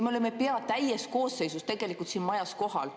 Me oleme pea täies koosseisus tegelikult siin majas kohal.